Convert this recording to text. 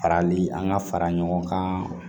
Farali an ka fara ɲɔgɔn kan